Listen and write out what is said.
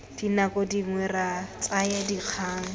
dinako dingwe re tsaya dikgang